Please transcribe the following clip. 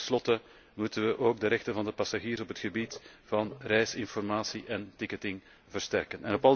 Tenslotte moeten wij ook de rechten van de passagiers op het gebied van reisinformatie en ticketing versterken.